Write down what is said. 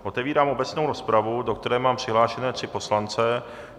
Otevírám obecnou rozpravu, do které mám přihlášené tři poslance.